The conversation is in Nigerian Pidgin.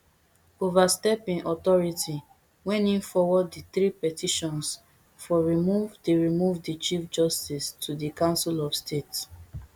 overstep im authority when im forward di three petitions for remove di remove di chief justice to di council of state